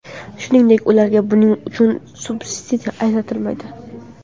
Shuningdek, ularga buning uchun subsidiya ajratilmaydi.